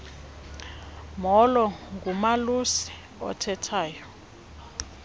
molo ngumalusi othethayo